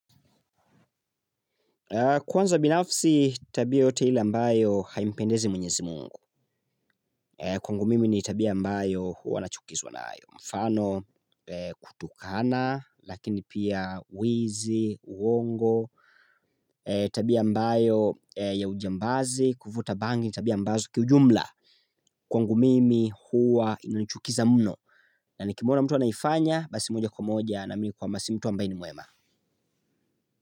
Kwanza binafsi tabia yote ile ambayo haimpendezi mwenyezi mungu kwangu mimi ni tabia ambayo huwa nachukizwa nayo. Mfano kutukana lakini pia wizi, uongo. Tabia ambayo ya ujambazi, kuvuta bangi ni tabia ambazo kiujumla kwangu mimi huwa inanichukiza mno. Na nikimwona mtu anaifanya basi moja kwa moja naamini kwamba si mtu ambaye ni mwema.